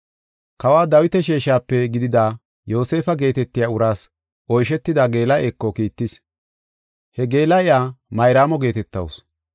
Kawa Dawita sheeshape gidida Yoosefa geetetiya uraas oyshetida geela7eeko kiittis. He geela7iya Mayraamo geetetawusu.